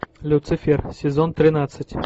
люцифер сезон тринадцать